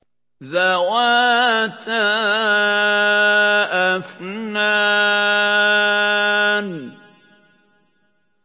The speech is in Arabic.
ذَوَاتَا أَفْنَانٍ